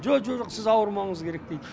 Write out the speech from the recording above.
жо жо жоқ сіз ауырмауыңыз керек дейді